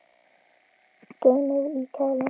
Geymið í kæli.